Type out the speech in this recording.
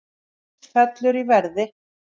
Gull fellur í verði